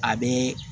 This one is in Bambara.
A bɛ